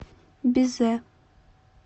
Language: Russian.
безе